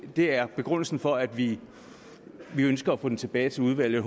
er begrundelsen for at vi ønsker at få det tilbage i udvalget